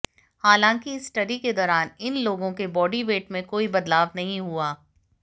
हालांकि इस स्टडी के दौरान इन लोगों के बॉडी वेट में कोई बदलाव नहीं हुआ